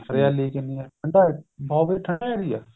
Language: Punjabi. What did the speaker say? ਹਰਿਆਲੀ ਕਿੰਨੀ ਏਹ ਠੰਡਾ ਉਹ ਵੀ ਠੰਡਾ ਏਰੀਆ ਆਂ